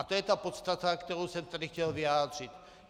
A to je ta podstata, kterou jsem tady chtěl vyjádřit.